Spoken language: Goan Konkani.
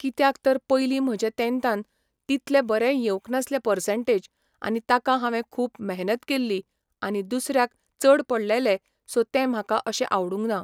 कित्याक तर पयलीं म्हजे तँतान, तितले बरे येवंक नासले पसंर्टेज आनी ताका हावें खूब मेहनत केल्ली आनी दुसऱ्यांक चड पडलेले सो तें म्हाका अशें आवडूंक ना.